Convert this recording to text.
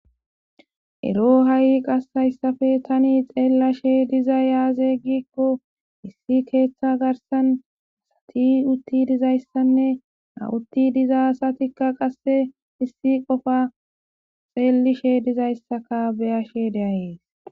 ero ha7i qassayssafe tani xeellashe diza yaaze gikko issi keeththa garsan asati utti dizayssanne hawutti diza satikka qasse issi qofa xeelishe dizayssaka beyashe deayees